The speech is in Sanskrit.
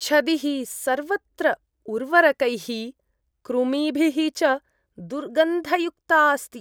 छदिः सर्वत्र उर्वरकैः, कृमिभिः च दुर्गन्धयुक्ता अस्ति।